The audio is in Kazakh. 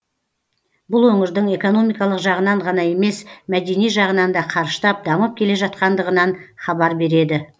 бұл өңірдің экономикалық жағынан ғана емес мәдени жағынан да қарыштап дамып келе жатқандығынан хабар береді